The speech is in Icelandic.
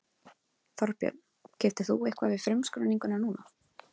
Þorbjörn: Keyptir þú eitthvað við frumskráninguna núna?